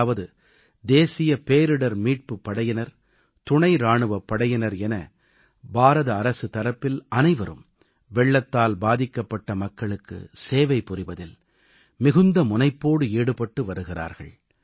அதாவது தேசிய பேரிடர் மீட்புப் படையினர் துணை இராணுவப் படையினர் என இந்திய அரசு தரப்பில் அனைவரும் வெள்ளத்தால் பாதிக்கப்பட்ட மக்களுக்கு சேவை புரிவதில் மிகுந்த முனைப்போடு ஈடுபட்டு வருகிறார்கள்